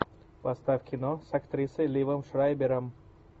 поставь кино с актрисой ливом шрайбером